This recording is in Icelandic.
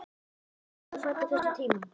Karen: Varst þú fædd á þessum tíma?